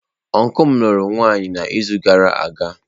Ọncụl m lụrụ nwaanyị n’izu gara aga.